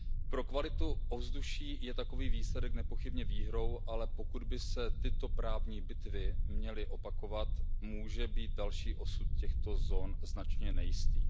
Pro kvalitu ovzduší je takový výsledek nepochybně výhrou, ale pokud by se tyto právní bitvy měly opakovat, může být další osud těchto zón značně nejistý.